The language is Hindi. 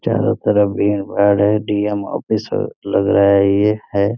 चारों तरफ यहाँ पेड़ है डी.एम. ऑफिसर लग रहा है ये है।